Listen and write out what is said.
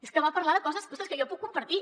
és que va parlar de coses ostres que jo puc compartir